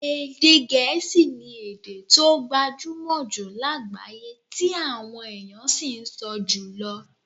Èdè Gẹ̀ẹ́sì ni èdè tó gbajúmọ̀ jù lágbàáyé tí àwọn èèyàn sì ń sọ jùlọ